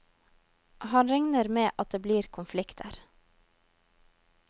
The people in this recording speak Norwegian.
Han regner med at det blir konflikter.